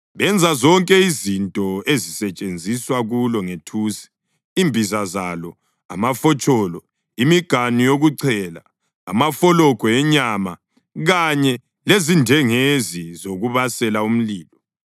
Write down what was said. Benza zonke izinto ezisetshenziswa kulo ngethusi, imbiza zalo, amafotsholo, imiganu yokuchela, amafologwe enyama kanye lezindengezi zokubasela umlilo.